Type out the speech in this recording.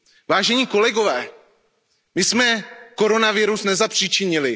Vážení kolegové, my jsme koronavirus nezapříčinili.